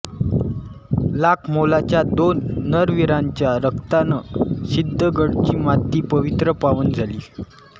लाख मोलाच्या दोन नरवीरांच्या रक्तानं सिद्धगडची माती पवित्र पावन झाली